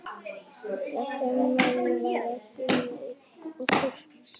Ég var alltaf viss um að maðurinn væri að spila með okkur.